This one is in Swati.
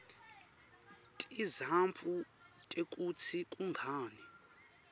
tizatfu tekutsi kungani